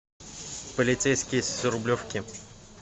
полицейский с рублевки